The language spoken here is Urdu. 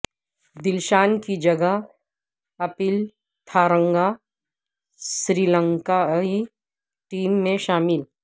دلشان کی جگہ اپل تھارنگا سری لنکائی ٹیم میں شامل